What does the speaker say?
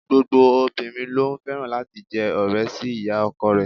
Gbogbo obìnrin ló fẹ́ràn láti jẹ́ ọ̀rẹ́ sí ìyá ọkọ rẹ̀.